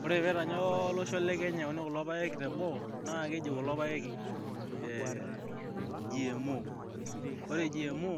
Oore pee etanya olosho le Kenya eyauni kulo peyek te boo, naa keji kulo payek GMO.Oore GMO